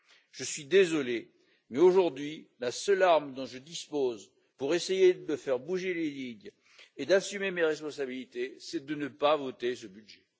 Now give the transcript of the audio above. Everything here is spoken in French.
Je suis désolé mais, aujourd'hui, la seule arme dont je dispose pour essayer de faire bouger les lignes et d'assumer mes responsabilités, c'est de ne pas voter ce budget.